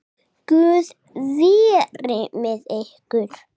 Guð veri með ykkur.